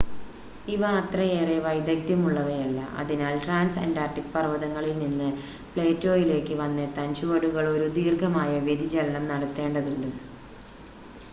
ഇവ അത്രയേറെ വൈദഗ്ദ്യം ഉള്ളവയല്ല അതിനാൽ ട്രാൻസ് അൻ്റാർട്ടിക് പർവ്വതങ്ങളിൽനിന്ന് പ്ലേറ്റോയിലേക്ക് വന്നെത്താൻ ചുവടുകൾ ഒരു ദീർഘമായ വ്യതിചലനം നടത്തേണ്ടതുണ്ട്